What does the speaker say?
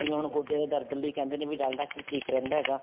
ਜਿਵੇਂ ਹੁਣ ਗੋਡਿਆਂ ਦੇ ਦਰਦ ਲਈ ਕਹਿੰਦੇ ਨੇ ਡਾਲਡਾ ਘੀ ਠੀਕ ਰਹਿੰਦਾ ਹੈਗਾ